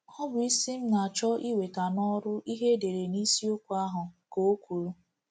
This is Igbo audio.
“Ọ bụ isi m na-achọ iweta n’ọrụ ihe edere n’Isiokwu ahụ,” ka o kwuru.